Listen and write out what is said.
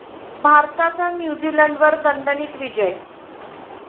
भारताचा न्यूझीलंडवर दणदणीत विजय